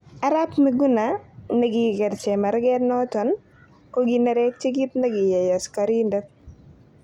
Arap Miguna, nekiker chemargat noton kokinerekyi kit nekiyai asikakoridet.